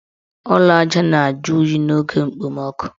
Ụlọ aja na-eju oyi n' oge okpomoọkụ.